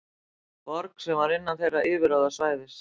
Borg sem var innan þeirra yfirráðasvæðis.